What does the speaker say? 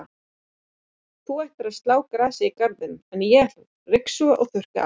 Þú ættir að slá grasið í garðinum, en ég ætla að ryksuga og þurrka af.